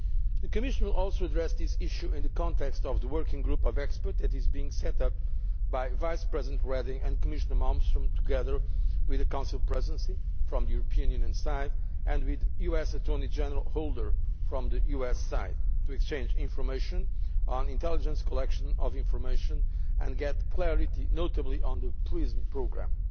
The Commission will also address this issue in the context of the working group of experts that is being set up by Vice President Reding and Commissioner Malmström together with the Council Presidency on the European Union side and with US Attorney General Holder on the US side to exchange information on intelligence collection of information and get clarity notably on the PRISM programme.